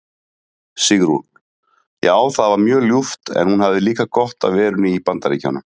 Sigrún: Já það var mjög ljúft en hún hafði líka gott af verunni í BAndaríkjunum.